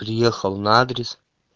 приехал на адрес